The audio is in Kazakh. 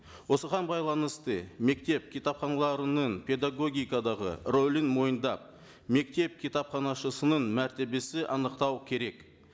осыған байланысты мектеп кітапханаларының педагогикадағы рөлін мойындап мектеп кітапханашысының мәртебесін анықтау керек